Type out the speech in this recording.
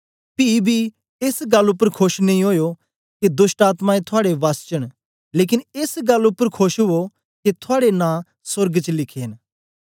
पी बी एस गल्ल उपर खोश नेई ओयो के दोष्टआत्मायें थुआड़े वस्स च न लेकन एस गल्ल उपर खोश ओ के थुआड़े नां सोर्ग च लिखे न